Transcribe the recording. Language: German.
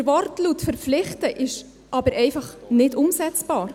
Der Wortlaut «verpflichten» ist aber einfach nicht umsetzbar.